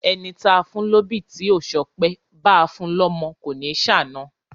Ẹni táa fún lóbì tí ò ṣọpẹ́, báa fun lọ́mọ kò ní ṣàna.